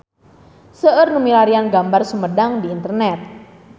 Seueur nu milarian gambar Sumedang di internet